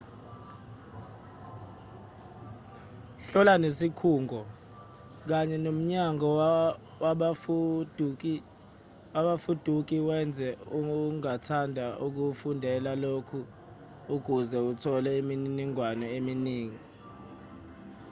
hlola nesikhungo kanye nomnyango wabafuduki wezwe ongathanda ukufundela kulo ukuze uthole imininingwane eminingi